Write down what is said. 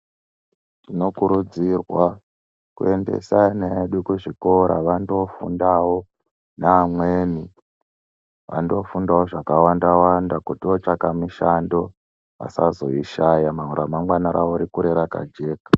Tinokurudzirwa, kuendesa ana edu kuzvikora vandofundawo, neamweni. Vandofundawo zvakawanda-wanda kuti otsvaka mishando, vasazoishaya ramangwana rawo rikure rakajeka.